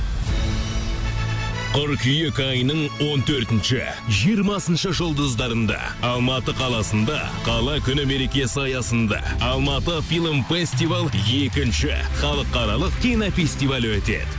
қыркүйек айының он төртінші жиырмасыншы жұлдыздарында алматы қаласында қала күні мерекесі аясында алматы фильм фестивал екінші халықаралық кинофестивалі өтеді